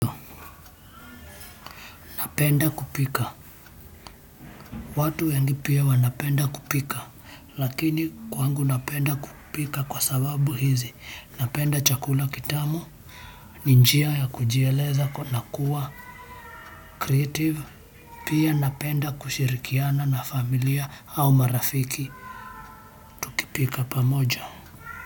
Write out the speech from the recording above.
Napenda kupika. Watu wengi pia wanapenda kupika. Lakini kwangu napenda kupika kwa sababu hizi. Napenda chakuka kitamu ni njia ya kujieleza na kuwa creative pia napenda kushirikiana na familia au marafiki tukipika pamoja.